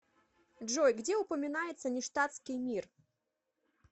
джой где упоминается ништадтский мир